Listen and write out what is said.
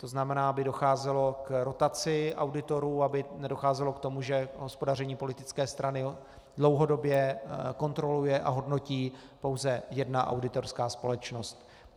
To znamená, aby docházelo k rotaci auditorů, aby nedocházelo k tomu, že hospodaření politické strany dlouhodobě kontroluje a hodnotí pouze jedna auditorská společnost.